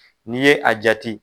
N'i ye a jati